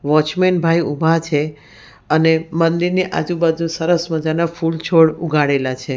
Watchman ભાઈ ઉભા છે અને મંદિરની આજુબાજુ સરસ મજાના ફૂલછોડ ઉગાડેલા છે.